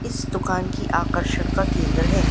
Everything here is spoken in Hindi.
इस दुकान की आकर्षण का केंद्र है।